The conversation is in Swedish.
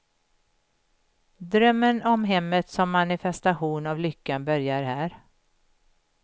Drömmen om hemmet som manifestation av lyckan börjar här.